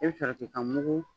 i bi sɔrɔ k'i ka mugu.